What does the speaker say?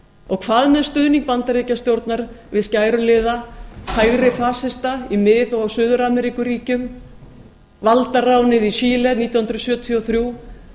og hvað með stuðning bandaríkjastjórnar við skæruliða hægri fasista í mið og suður ameríkuríkjum valdaránið í chile árið nítján hundruð sjötíu og þrjú